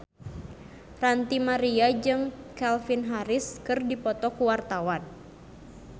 Ranty Maria jeung Calvin Harris keur dipoto ku wartawan